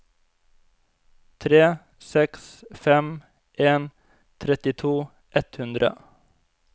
tre seks fem en trettito ett hundre